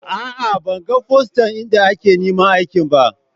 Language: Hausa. A'a, ban gan fostan inda a ke neman aiki ba.